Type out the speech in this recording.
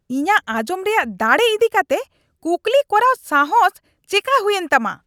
ᱤᱧᱟᱜ ᱟᱧᱡᱚᱢ ᱨᱮᱭᱟᱜ ᱫᱟᱲᱮ ᱤᱫᱤ ᱠᱟᱛᱮ ᱠᱩᱠᱞᱤ ᱠᱚᱨᱟᱣ ᱥᱟᱦᱚᱥ ᱪᱮᱠᱟ ᱦᱩᱭᱮᱱ ᱛᱟᱢᱟ ?